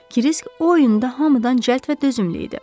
Kirisk o oyunda hamıdan cəld və dözümlü idi.